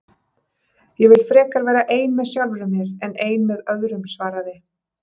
Ég vil frekar vera ein með sjálfri mér en ein með öðrum svaraði